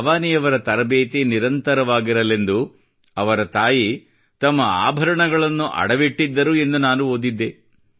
ಭವಾನಿಯವರ ತರಬೇತಿ ನಿರಂತವಾಗಿರಲೆಂದು ಅವರ ತಾಯಿ ತಮ್ಮ ಆಭರಣಗಳನ್ನು ಅಡವಿಟ್ಟಿದ್ದರು ಎಂದು ನಾನು ಓದಿದ್ದೆ